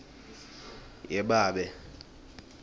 yebabe